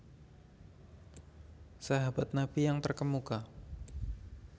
Sahabat Nabi yang Terkemuka